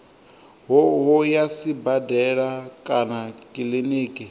hoho ya sibadela kana kiliniki